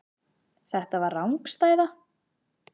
Þetta var rangstæða.